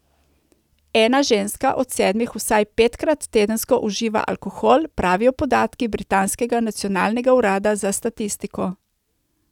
Ena ženska od sedmih vsaj petkrat tedensko uživa alkohol, pravijo podatki britanskega nacionalnega urada za statistiko.